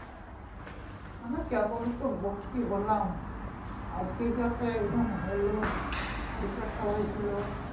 না না কেবলি তো ভর্তি হলাম আজকে ই তো একটা exam হল পরশু একটা হয়েছিল